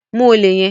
Mu olè yẹn!